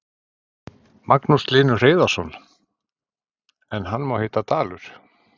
Magnús Hlynur Hreiðarsson: En hann má heita Dalur?